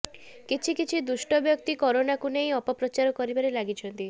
କିଛି କିଛି ଦୁଷ୍ଟ ବ୍ୟକ୍ତି କରୋନାକୁ ନେଇ ଅପ ପ୍ରଚାର କରିବାରେ ଲାଗିଛନ୍ତି